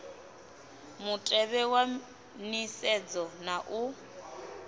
mutevhe wa nisedzo na u